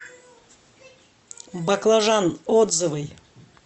баклажан отзывы